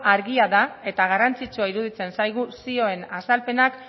argia da eta garrantzitsua iruditzen zaigu zioen azalpenak